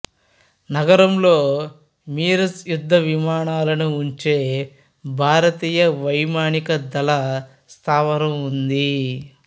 నగరంలో మిరాజ్ యుద్ధవిమానాలను ఉంచే భారతీయ వైమానిక దళ స్థావరం ఉంది